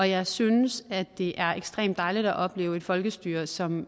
jeg synes at det er ekstremt dejligt at opleve et folkestyre som